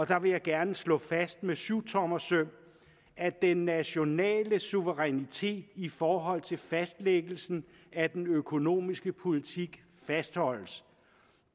der vil jeg gerne slå fast med syvtommersøm at den nationale suverænitet i forhold til fastlæggelsen af den økonomiske politik fastholdes